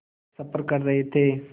सफ़र कर रहे थे